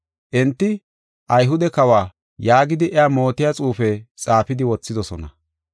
Enti, “Ayhude kawa” yaagidi iya mootiya xuufe xaafidi wothidosona.